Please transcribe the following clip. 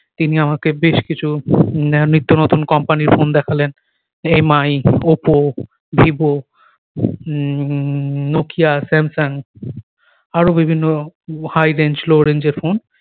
তিনি আমাকে বেশ কিছু ন্য নিত্য নতুন company র ফোন দেখালেন Mi Oppo Vivo um Nokia Samsung আরো বিভিন্ন high range low range এর ফোন